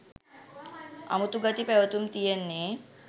අමුතු ගති පැවතුම් තියෙන්නේ